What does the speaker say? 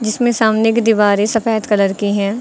इसमें सामने की दीवारें सफेद कलर की है।